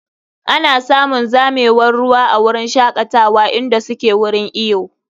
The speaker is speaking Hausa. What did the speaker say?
Ana samun zamewar ruwa a wurin shakatawa inda suke wurin iyo.